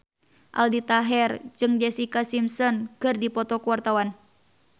Aldi Taher jeung Jessica Simpson keur dipoto ku wartawan